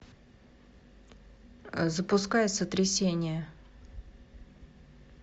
запускай сотрясение